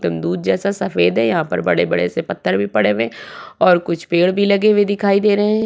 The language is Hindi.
दूध जैसा सफ़ेद है यहाँ पे बड़े-बड़े से पत्थर भी पड़े हुए हैं और कुछ पेड़ भी लगे हुए दिखाई दे रहें हैं।